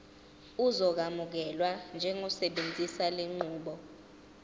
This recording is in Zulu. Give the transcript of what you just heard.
uzokwamukelwa njengosebenzisa lenqubo